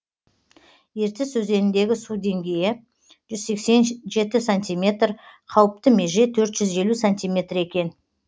ертіс өзеніндегі су деңгейі жүз сексен жеті сантиметр қауіпті меже төрт жүз елу сантиметр екен